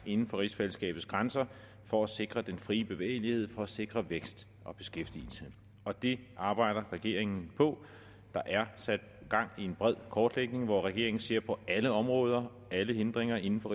inden for rigsfællesskabets grænser for at sikre den frie bevægelighed for at sikre vækst og beskæftigelse og det arbejder regeringen på der er sat gang i en bred kortlægning hvor regeringen ser på alle områder alle hindringer inden for